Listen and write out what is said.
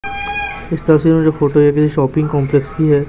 इस तस्वीर में जो फोटो है ये किसी शॉपिंग कॉम्प्लेक्स की है।